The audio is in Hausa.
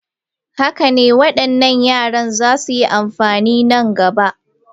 Haka ne, waɗannan yaran za su yi amfani a nan gaba.